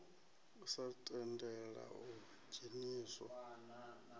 u sa tendela u dzheniswa